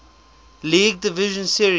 league division series